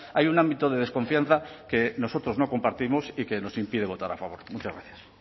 hay un ámbito de desconfianza que nosotros no compartimos y que nos impide votar a favor muchas gracias